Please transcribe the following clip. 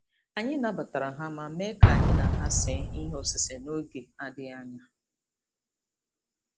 Anyị nabatara ha ma mee ka anyị na ha see ihe osise n'oge adịghị anya.